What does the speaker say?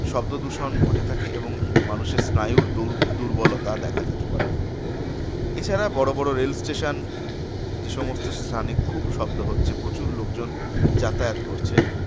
শব্দদূষণ ঘটে থাকে এবং মানুষের স্নায়ুর দুর~ দুর্বলতা দেখা যেতে পারে। এছাড়া বড়বড় rail station যেসমস্ত স্থানে খুব শব্দ হচ্ছে প্রচুর লোকজন যাতায়াত করছে